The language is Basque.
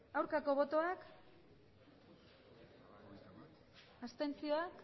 aurkako botoak abstenzioak